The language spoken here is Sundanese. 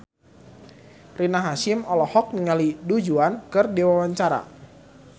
Rina Hasyim olohok ningali Du Juan keur diwawancara